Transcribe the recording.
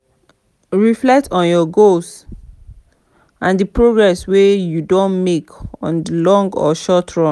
reflect on your goals and di progress wey you don make on di long or short run